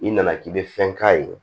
I nana k'i bɛ fɛn k'a ye